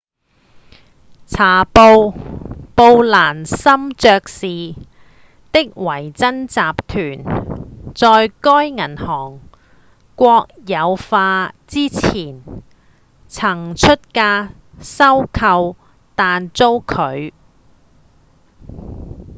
理查‧布蘭森爵士的維珍集團在該銀行國有化之前曾出價收購但遭拒